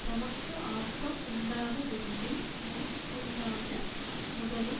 தமக்கு ஆக்கம் உண்டாகவேண்டி முன்புண்டான முதலும்